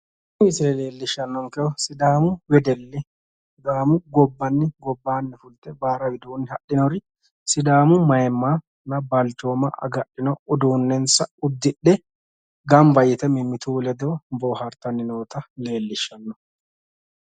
Tini misile leellishshannonkehu sidaamu wedelli sidaamu gobbanni gobaanni fulte baara widoonni hadhinori sidaamu mayiimmanna balchooma agadhino uduunnensa udidhe gamba yite mimmitu ledo bohaartanni noota leellishshanno